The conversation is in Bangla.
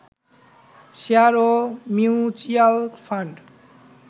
শেয়ার ও মিউচ্যুয়াল ফান্ড